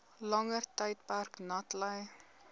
langer tydperk natlei